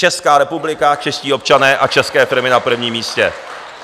Česká republika, čeští občané a české firmy na prvním místě.